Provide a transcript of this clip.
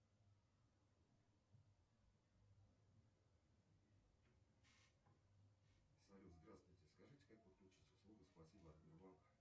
салют здравствуйте скажите как подключить услугу спасибо от сбербанка